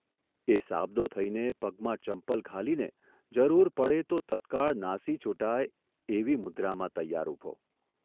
એ સબાદો થઇને પગમાં ચંપલ ઘાલીને જરૂર પડે તો તત્કાળ નાસી છૂટાય એવી મુદ્રામાં તૈયાર ઊભો.